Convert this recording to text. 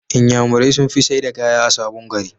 inyamurai sunfi saida kaya a sabon gari